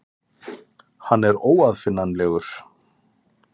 Hann er óaðfinnanlegur.